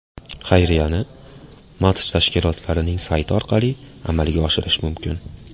Xayriyani match tashkilotchilarining sayti orqali amalga oshirish mumkin .